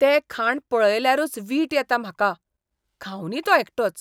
तें खाण पळयल्यारूच वीट येता म्हाका, खावूंदी तो एकटोच.